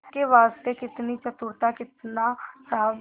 इसके वास्ते कितनी चतुरता कितना साहब